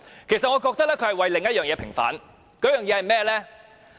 其實，我覺得他是為了另一件事平反，為了甚麼？